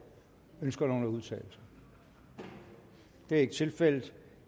ønsker nogen at udtale sig det er ikke tilfældet